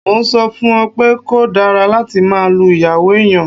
Mo ń sọ fún un pé kò dára láti máa lu ìyàwó èèyàn